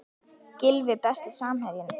Gylfi Besti samherjinn?